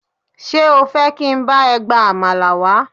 Ṣé o fẹ́ jẹ́ kí n bá ẹ gba àmàlà wá?